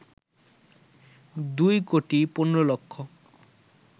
২ কোটি ১৫ লক্ষ